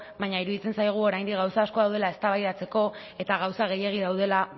baina iruditzen zaigu oraindik gauza asko daudela eztabaidatzeko eta gauza gehiegi daudela